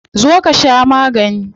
Zo ka sha magani.